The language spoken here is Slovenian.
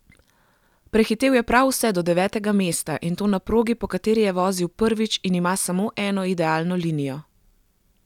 Prehitel je prav vse do devetega mesta, in to na progi, po kateri je vozil prvič in ima samo eno idealno linijo.